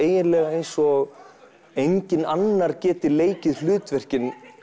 eins og enginn geti leikið hlutverkin